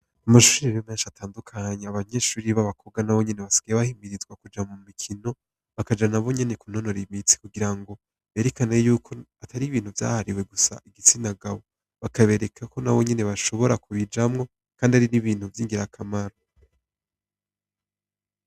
Mu mashure rero menshi atandukanye, abanyeshure b'abakobwa nabo nyene basigaye bahimirizwa kuja mu mikino bakaja nabo nyene kunonora imitsi kugira ngo berekane yuko atari ibintu vyahariwe gusa igitsinagabo. Bakabereka ko nabo nyene bashobora kubijamwo kandi ari n'ibintu vy'ingirakamaro.